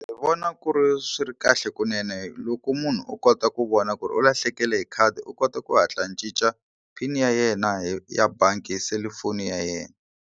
Ndzi vona ku ri swi ri kahle kunene loko munhu o kota ku vona ku ri u lahlekele hi khadi u kota ku hatla a cinca pin ya yena hi ya bangi hi selufoni ya yena.